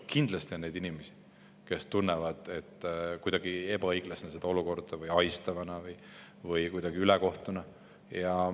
Kindlasti on neid inimesi, kes tunnetavad seda olukorda ebaõiglasena, ahistavana või kuidagi ülekohtusena.